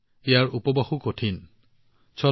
ইয়াত উপবাসো কোনো কঠিন সাধনাতকৈ কম নহয়